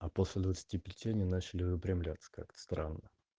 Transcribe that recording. а после двадцати пяти они начали выпрямляться как-то странно